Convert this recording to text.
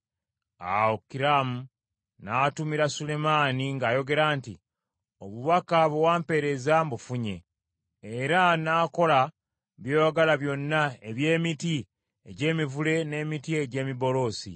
Awo Kiramu n’atumira Sulemaani ng’ayogera nti, “Obubaka bwe wampeereza mbufunye, era nnaakola by’oyagala byonna eby’emiti egy’emivule n’emiti egy’emiberosi.